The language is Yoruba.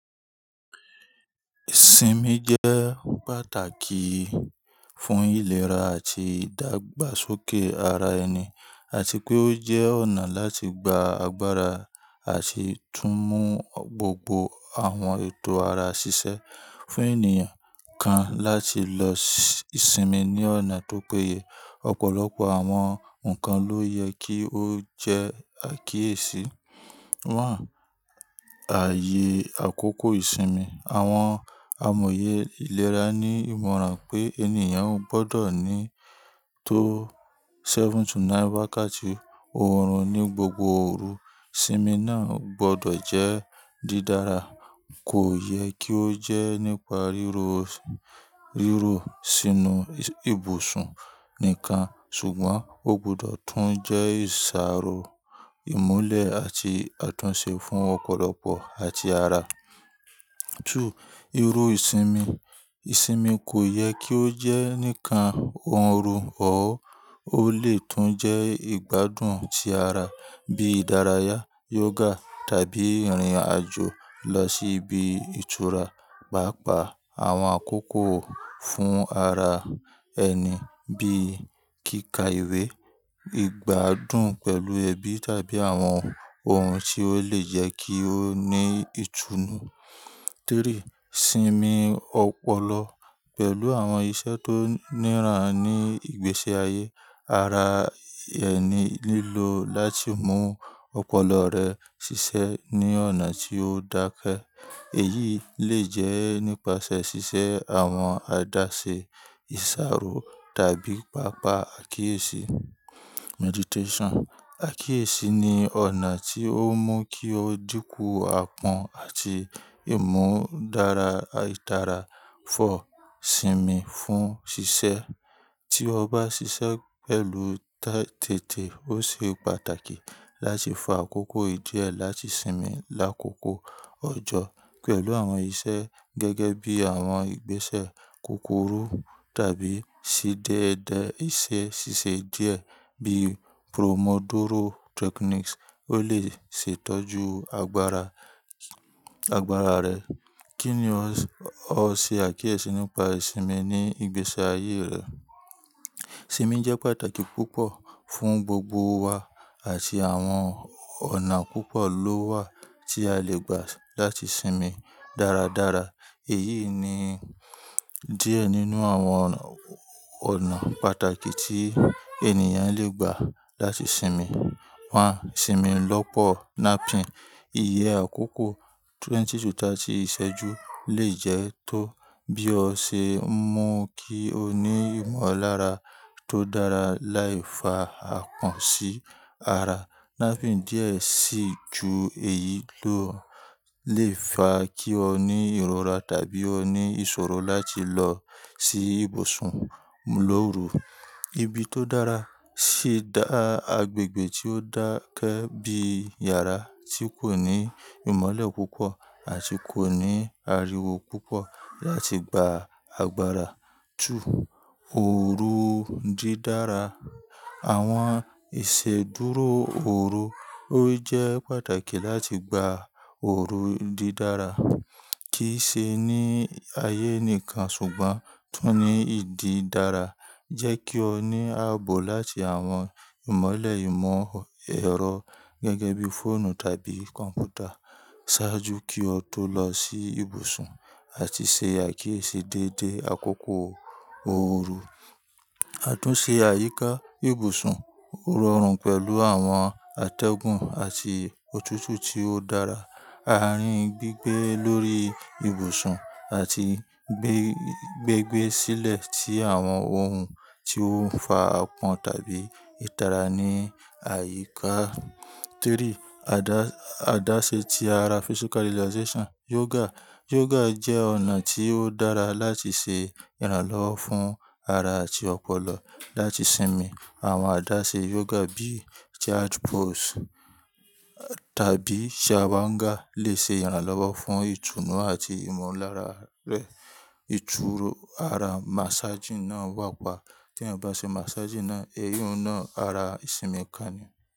Ìsinmi jẹ́ pàtàkì fún ìlera àti ìdàgbàsókè ara ẹni àti pé ó jẹ́ ọ̀nà láti gba agbára àti tún mú gbogbo àwọn ètò ara ṣiṣẹ́. Fún ènìyàn kan láti lọ sinmi ní ọ̀nà tó péye, ọ̀pọ̀lọpọ̀ àwọn ǹkan ló yẹ kí ó jẹ́ àkíyèsí. Ààyè àkókò ìsinmi. Àwọn amòye ìlera ní ìmọ̀ràn pé ènìyàn ò gbọdọ̀ ní tó seven to nine wákàtí oòrùn ní gbogbo òru. Ìsinmi náà ò gbọdọ̀ jẹ́ dídára. Kò yẹ kí ó jẹ́ nípa rírò, rírò sínú ibùsùn nìkan ṣùgbọ́n ó gbọdọ̀ tún jẹ́ ìṣàrò ìmúlẹ̀ àti àtúnṣe fún ọ̀pọ̀lọpọ̀ àti ara. Ìrò ìsinmi. Ìsinmi kò yẹ kí ó jẹ́ nìkan ọ̀run or. Ó lè tún jẹ́ ìgbádùn ti ara bíi ìdárayá, yoga tàbí ìrìn àjò lọ sí ibi ìtura, pàápàá àwọn àkókò fún ara ẹni bíi kíkà ìwé, ìgbádùn pẹ̀lú ẹbí tàbí àwọn ohun tí ó lè jẹ́ kí ó ní ìtùnú. Ìsinmi ọpọlọ. Pẹ̀lú àwọn iṣẹ́ tó níran ní ìgbésí ayé, ara ẹni lílò láti mú ọpọlọ rẹ̀ ṣiṣẹ́ ní ọ̀nà tí ó dákẹ́. Èyí lè jẹ́ nípasẹ̀ ṣíṣe àwọn àdáṣe ìṣàrò tàbí pàápàá àkíyèsí. Meditation. Àkíyèsí ni ọ̀nà tí ó mú kí o dínkù àpọ́n àti ìmú dára, ìtara. Ìsinmi fún ṣíṣe. Tí o bá ṣiṣẹ́ pẹ̀lú tẹ́tẹ́, ó ṣe pàtàkì láti fa àkókò díẹ̀ láti sinmi lákòókò ọjọ́ pẹ̀lú àwọn iṣẹ́ gẹ́gẹ́ bí àwọn ìgbésẹ̀ kúkúrú tàbí ṣí déédé ẹsẹ̀ ṣíṣe díẹ̀ bíi Promodoro techniques. Ó lè sì tọ́jú agbára, agbára rẹ. Kí ni ó ṣe àkíyèsí nípa ìsinmi ní ìgbésí ayé rẹ? Ìsinmi jẹ́ pàtàkì púpọ̀ fún gbogbo wa àti àwọn ọ̀nà púpọ̀ ló wà tí a lè gbà láti sinmi dáradára. Èyí ni díẹ̀ nínú àwọn ọ̀nà pàtàkì tí ènìyàn lè gbà láti sinmi. Ìsinmi lọ́pọ̀ napping. Iye àkókò twenty to thirty ìṣẹ́jú lè jẹ́ tó bí o ṣe ń mú kí o ní ìmọ̀lára tó dára láì fa àpọ́n sí ara. Napping díẹ̀ sí i ju èyí lọ lè fa kí o ní ìrora tàbí ó ní ìṣòro láti lọ sí ibùsùn lóru. Ibi tó dára sì dá agbègbè tí ó dákẹ́ bí yàrá tí kò ní ìmọ́lẹ̀ púpọ̀ àti kò ní ariwo púpọ̀ láti gba agbára. Ooru dídára. Àwọn ìṣèdúró ooru, ó jẹ́ pàtàkì láti gba ooru dídára. Kì í ṣe ní ayé nìkan ṣùgbọ́n tún ní ìdí dára. Jẹ́ kí o ní ààbò láti àwọn ìmọ́lẹ̀ ìmọ̀ ẹ̀rọ gẹ́gẹ́ bí fọ́ònù tàbí kọ̀m̀pútà. Sáájú kí o tó lọ sí ibùsùn àti ṣe àkíyèsí déédé àkókò ooru. Àtúnṣe àyíká ibùsùn. Ororun pẹ̀lú àwọn àtẹ́gùn àti òtútù tí ó dára. Àárín gbígbé lórí ibùsùn àti gbé, gbígbé sílẹ̀ ti àwọn ohun tí ó ń fa àpọ́n tàbí ìtara ní àyíká.three Àdáṣe ti ara physical relaxation yoga. Yoga jẹ́ ọ̀nà tí ó dára láti ṣe ìrànlọ́wọ́ fún ara àti ọpọlọ láti sinmi. Àwọn àdáṣe yoga bíi child pose tàbí shavanga lè ṣe ìrànlọ́wọ́ fún ìtùnú àti ìmọ̀lára rẹ. Ìtúró ara massaging náà wà pa. Tí ẹyan bá ṣe massaging náà, èyun na ara ìsinmi kan ni.